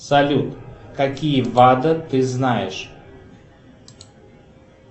салют какие бады ты знаешь